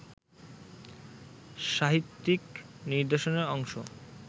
সাহিত্যিক নিদর্শনের অংশ